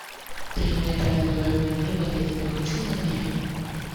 три метра над уровнем неба я тебя хочу набери